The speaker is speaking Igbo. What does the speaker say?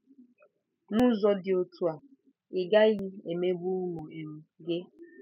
N'ụzọ dị otú a, ị gaghị emegbu ụmụ um gị.